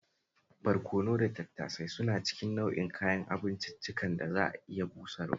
Barkono da tattasai suna cikin nau'in kayan abinciccikan da za a iya busarwa